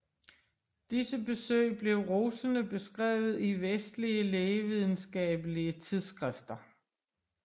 Disse besøg blev rosende beskrevet i vestlige lægevidenskabelige tidsskrifter